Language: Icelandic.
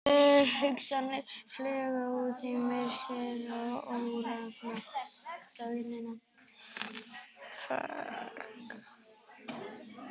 Hugsanirnar flugu út í myrkrið og órofna þögnina.